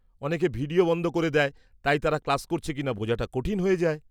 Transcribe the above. -অনেকে ভিডিও বন্ধ করে দেয় তাই তারা ক্লাস করছে কিনা বোঝাটা কঠিন হয়ে যায়।